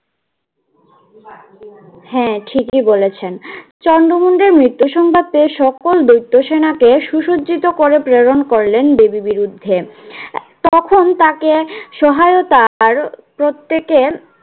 হ্যাঁ ঠিকই বলেছেন। চন্ড মুন্ডের মৃত্যু সংবাদ পেয়ে সকল দৈত্য সেনাকে সুসজ্জিত করে প্রেরণ করলেন দেবী বিরুদ্ধে তখন তাকে সহায়তার প্রত্যেকের